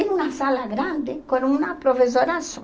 Era uma sala grande com uma professora só.